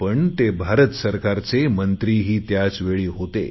पण ते भारत सरकारचे मंत्रीही त्याचवेळी होते